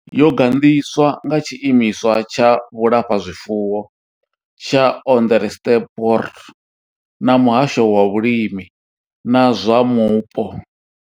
Yo gandiswa nga tshiimiswa tsha vhulafhazwifuwo tsha Onderstepoort na muhasho wa vhulimi na zwa Vhupo.